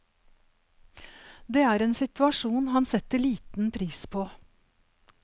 Det er en situasjon han setter liten pris på.